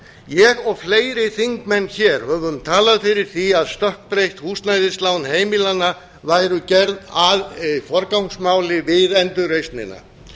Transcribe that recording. ég og fleiri þingmenn höfum talað fyrir því að stökkbreytt húsnæðislán heimilanna væru gerð að forgangsmáli við endurreisnina